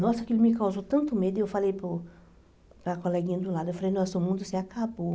Nossa, aquilo me causou tanto medo, aí eu falei para o para a coleguinha do lado, eu falei, nossa, o mundo se acabou.